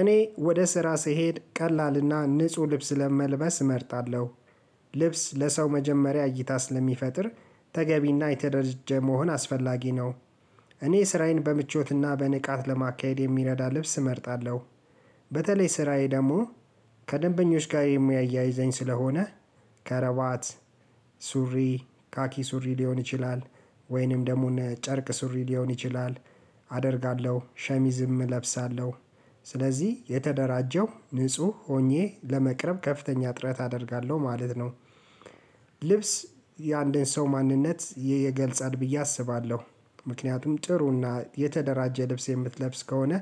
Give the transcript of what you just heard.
እኔ ወደ ስራ ስሄድ ቀላልና ንጹህ ልብስ ለመልበስ እመርጣለሁ። ልብስ ለሰው መጀመሪያ እይታ ስለሚፈጥር ተገቢና የተደረጀ መሆን አስፈላጊ ነው። እኔ ስራዬን በምቾትና በንቃት ለማካሄድ የሚረዳ ልብስ እመርጣለሁ። በተለይ ስራዬ ደግሞ ከደንበኞች ጋር የሚያያይዘኝ ስለሆነ ከረባት ሱሪ ካኪ ሱሪ ሊሆን ይችላል ወይንም ደሞ ጨርቅ ሱሪ ሊሆን ይችላል አደርጋለሁ ሸሚዝም እለብሳለሁ። ስለዚህ የተደራጀው ንጹህ ሆኜ ለመቅረብ ከፍተኛ ጥረት አደርጋለሁ ማለት ነው። ልብስ የአንድን ሰው ማንነት ይገልጻል ብዬ አስባለሁ ምክንያቱም ጥሩና የተደራጀ ልብስ የምትለብስ ከሆነ